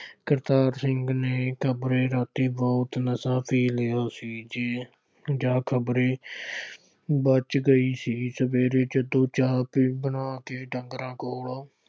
ਕਰਤਾਰ ਸਿੰਘ ਨੇ ਇੱਕ ਆਪਣੇ ਰਾਤੀ ਬਹੁਤ ਨਸ਼ਾ ਪੀ ਲਿਆ ਸੀ। ਜਾਂ ਖਬਰੇ ਬੱਚ ਗਈ ਸੀ। ਸਵੇਰੇ ਜਦੋਂ ਚਾਹ ਪਾਣੀ ਬਣਾ ਕੇ ਢੰਗਰਾਂ ਕੋਲ